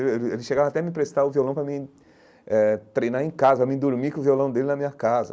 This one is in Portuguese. Ele ele ele chegava até a me emprestar o violão pra mim eh treinar em casa, pra mim dormir com o violão dele na minha casa.